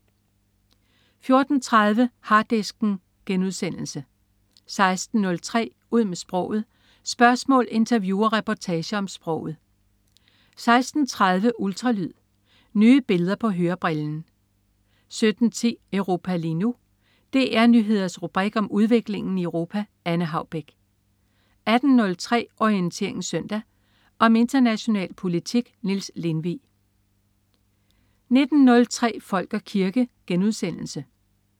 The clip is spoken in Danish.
14.30 Harddisken* 16.03 Ud med sproget. Spørgsmål, interview og reportager om sproget 16.30 Ultralyd. Nye billeder på hørebrillen 17.10 Europa lige nu. DR Nyheders rubrik om udviklingen i Europa. Anne Haubek 18.03 Orientering Søndag. Om international politik. Niels Lindvig 19.03 Folk og kirke*